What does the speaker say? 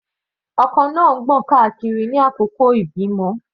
Ọkọ náà ń gbọ̀n káàkiri ní àkókò ìbímọ.